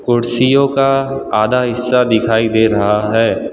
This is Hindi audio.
कुर्सियों का आधा हिस्सा दिखाई दे रहा है।